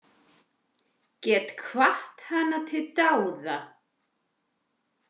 Get hvatt hana til dáða.